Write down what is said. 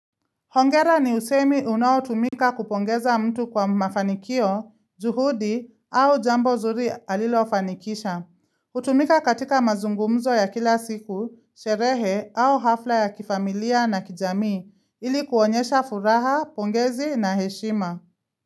Hongera ni usemi unaotumika kupongeza mtu kwa mafanikio, juhudi au jambo nzuri alilo fanikisha. Hutumika katika mazungumzo ya kila siku, sherehe au hafla ya kifamilia na kijamii, ilikuonyesha furaha, pongezi na heshima.